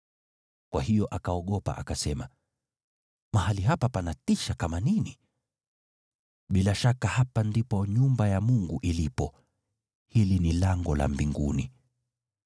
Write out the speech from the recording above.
Kwa hiyo akaogopa, akasema, “Mahali hapa panatisha kama nini! Bila shaka hapa ndipo nyumba ya Mungu ilipo, hili ni lango la mbinguni.”